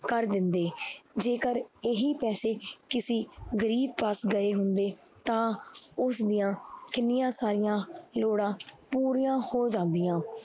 ਕਰ ਦਿੰਦੇ ਜੇਕਰ ਇਹੀ ਪੈਸੇ ਕਿਸੇ ਗ਼ਰੀਬ ਪਾਸ ਗਏ ਹੁੰਦੇ ਤਾਂ ਉਸਦੀਆਂ ਕਿੰਨੀਆਂ ਸਾਰੀਆਂ ਲੋੜਾਂ ਪੂਰੀਆਂ ਹੋ ਜਾਂਦੀਆਂ।